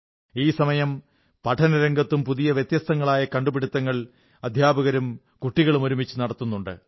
ഈ സമയം പഠനരംഗത്തും പുതിയ വ്യത്യസ്തങ്ങളായ കണ്ടുപിടുത്തുങ്ങൾ അധ്യാപകരും കുട്ടികളും ഒരുമിച്ച് നടത്തുന്നുണ്ട്